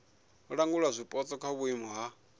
langula zwipotso kha vhuimo ha